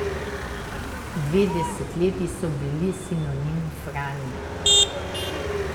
Dve desetletji so bili sinonim Franje.